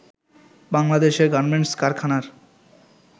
বাংলাদেশের গার্মেন্টস কারখানার